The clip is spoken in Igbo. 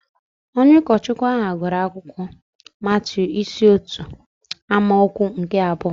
Onye ụkọchukwu ahụ gụrụ akwụkwọ Matiu isi otu amaokwu nke abụọ